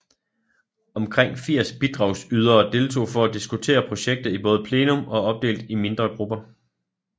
Omkring 80 bidragsydere deltog for at diskutere projektet i både plenum og opdelt I mindre grupper